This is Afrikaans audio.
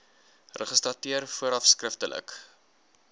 registrateur vooraf skriftelik